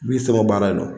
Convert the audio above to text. N b'i sɛgɛn baara in na